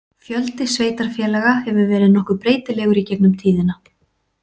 Fjöldi sveitarfélaga hefur verið nokkuð breytilegur í gegnum tíðina.